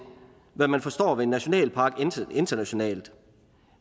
hvad man forstår ved en nationalpark internationalt